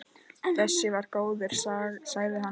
Þessi var góður, sagði hann.